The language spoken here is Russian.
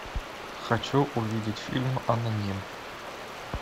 хочу увидеть фильм аноним